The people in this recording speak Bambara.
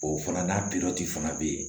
O fana n'a fana bɛ yen